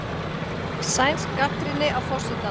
Sænsk gagnrýni á forsetann